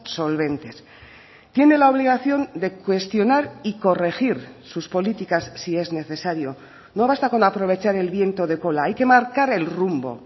solventes tiene la obligación de cuestionar y corregir sus políticas si es necesario no basta con aprovechar el viento de cola hay que marcar el rumbo